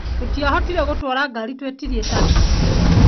Tũtĩahotire gũtwara ngari twetirie taxi